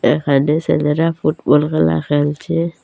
এখানে সেলেরা ফুটবল খেলা খেলছে।